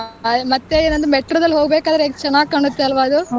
ಹ್ಮ್ ಮತ್ತೆ ಏನಂದ್ರೆ metro ದಲ್ಲಿ ಹೋಗ್ಬೇಕಾದರೆ ಅದು ಎಷ್ಟು ಚೆನ್ನಾಗ್ ಕಾಣತ್ತೆ ಅಲ್ವಾ ಅದು.